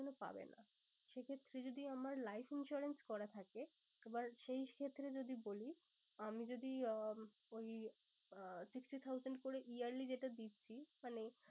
পাবে না। সে ক্ষেত্রে যদি আমার life insurance করা থাকে। আবার সেই ক্ষেত্রে যদি বলি আমি যদি আহ ওই আহ sixty thousand করে yearly যেটা দিচ্ছি মানে